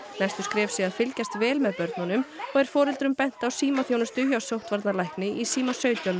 næstu skref séu að fylgjast vel með börnunum og er foreldrum bent á símaþjónustu hjá sóttvarnalækni í síma sautján